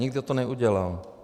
Nikdo to neudělal.